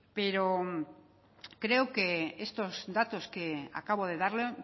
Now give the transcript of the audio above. pero creo que estos datos que acabo de darle